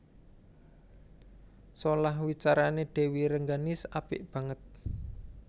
Solah wicarané Dèwi Rengganis apik banget